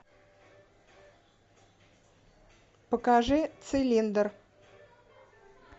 покажи цилиндр